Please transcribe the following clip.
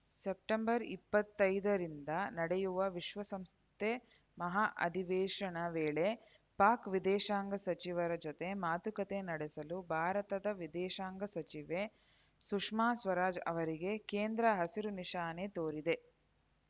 September ಇಪ್ಪತ್ತೈದರಿಂದ ನಡೆಯುವ ವಿಶ್ವಸಂಸ್ಥೆ ಮಹಾ ಅಧಿವೇಶನ ವೇಳೆ ಪಾಕ್‌ ವಿದೇಶಾಂಗ ಸಚಿವರ ಜೊತೆ ಮಾತುಕತೆ ನಡೆಸಲು ಭಾರತದ ವಿದೇಶಾಂಗ ಸಚಿವೆ ಸುಷ್ಮಾ ಸ್ವರಾಜ್‌ ಅವರಿಗೆ ಕೇಂದ್ರ ಹಸಿರು ನಿಶಾನೆ ತೋರಿದೆ